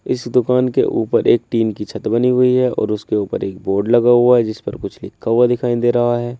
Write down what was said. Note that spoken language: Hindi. इस दुकान के ऊपर एक टीन की छत बनी हुई है और उसके ऊपर एक बोर्ड लगा हुआ है जिस पर कुछ लिखा हुआ दिखाई दे रहा है।